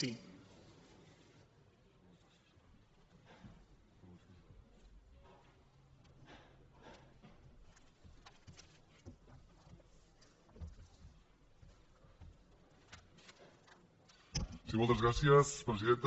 sí moltes gràcies presidenta